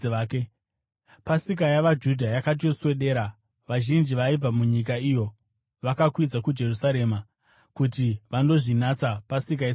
Pasika yavaJudha yakati yoswedera, vazhinji vaibva munyika iyo vakakwidza kuJerusarema kuti vandozvinatsa Pasika isati yasvika.